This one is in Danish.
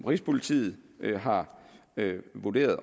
rigspolitiet har vurderet